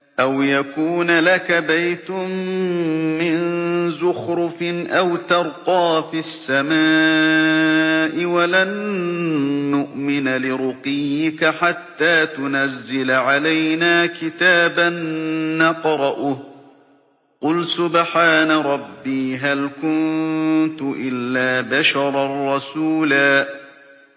أَوْ يَكُونَ لَكَ بَيْتٌ مِّن زُخْرُفٍ أَوْ تَرْقَىٰ فِي السَّمَاءِ وَلَن نُّؤْمِنَ لِرُقِيِّكَ حَتَّىٰ تُنَزِّلَ عَلَيْنَا كِتَابًا نَّقْرَؤُهُ ۗ قُلْ سُبْحَانَ رَبِّي هَلْ كُنتُ إِلَّا بَشَرًا رَّسُولًا